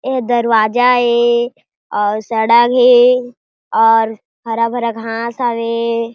ए दरवाजा ए अउ सड़क हे और हरा-भरा घास हावे।